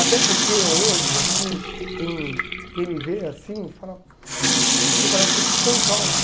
Até porque hoje, assim, quem quem me vê assim fala, poxa você parece ser tão calmo.